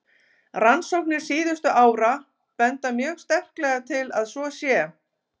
Rannsóknir síðustu ára benda mjög sterklega til að svo sé.